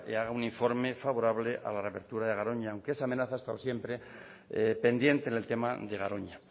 haga un informe favorable a la reapertura de garoña aunque esa amenaza ha estado siempre pendiente en el tema de garoña